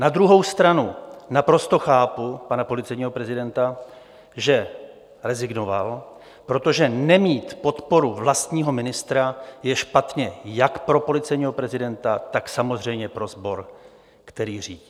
Na druhou stranu naprosto chápu pana policejního prezidenta, že rezignoval, protože nemít podporu vlastního ministra je špatně jak pro policejního prezidenta, tak samozřejmě pro sbor, který řídí.